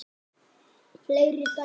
Fleiri dæmi